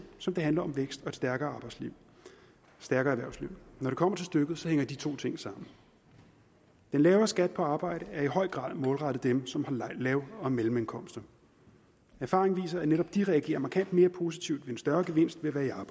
som det handler om vækst og et stærkere erhvervsliv når det kommer til stykket hænger de to ting sammen den lavere skat på arbejde er i høj grad målrettet dem som har lav og mellemindkomster erfaringen viser at netop de reagerer markant mere positivt ved en større gevinst ved at være